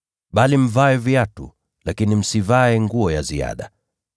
Vaeni viatu, lakini msivae nguo ya ziada.”